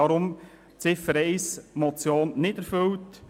Deshalb ist Ziffer 1 der Motion nicht erfüllt.